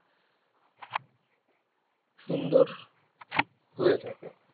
সুন্দর হয়ে থাকে